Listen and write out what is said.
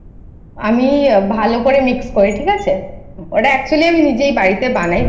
আমি ভালো করে Mix করি ঠিক আছে। ওটা Actually আমি নিজেই বাড়িতে বানাই।